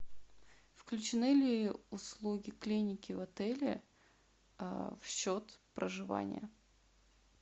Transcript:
включены ли услуги клиники в отеле в счет проживания